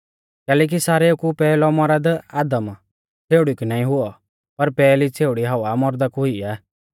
कैलैकि सारेऊ कु पैहलौ मौरद आदम छ़ेउड़ी कु नाईं हुऔ पर पैहली छ़ेउड़ी हव्वा मौरदा कु हुई आ